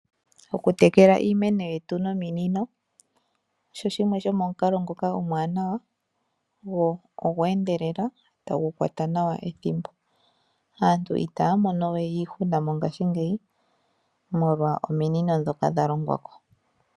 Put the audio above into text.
Okutekela iimeno yetu nominino osho shimwe shomomukalo ngoka omwaanawa , go gweendelela, tagu kwata nawa ethimbo. Aantu itaya monowe iihuna mongashingeyi molwa ominino ndhoka dha longwa ko.